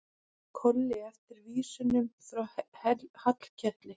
Kolli eftir vísunum frá Hallkeli.